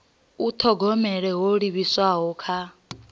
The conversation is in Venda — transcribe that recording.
u thogomela ho livhiswaho kha